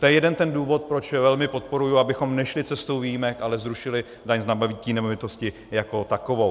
To je jeden ten důvod, proč velmi podporuji, abychom nešli cestou výjimek, ale zrušili daň z nabytí nemovitosti jako takovou.